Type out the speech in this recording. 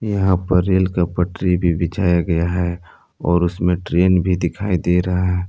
यहां पर रेल का पटरी भी बिछाया गया है और उसमें ट्रेन भी दिखाई दे रहा है।